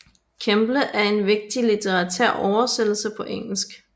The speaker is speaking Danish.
Kemble en vigtig litterær oversættelse på engelsk